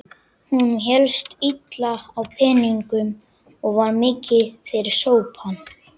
Honum hélst illa á peningum og var mikið fyrir sopann.